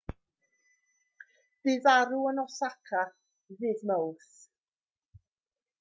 bu farw yn osaka ddydd mawrth